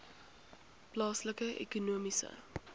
plaaslike ekonomiese